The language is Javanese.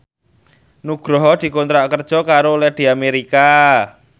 Nugroho dikontrak kerja karo Lady America